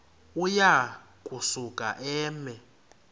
uya kusuka eme